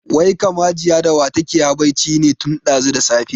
Wai kam Hajiya da wa take habaici ne tun ɗazu da safe?